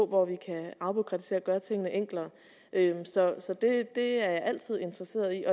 hvor vi kan afbureaukratisere og gøre tingene enklere så så det er jeg altid interesseret i